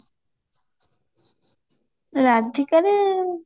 ରାଧିକାରେ